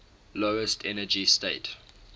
lowest energy state